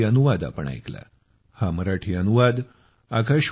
पिबमुंबई पिबमुंबई पिबमुंबई pibmumbaigmail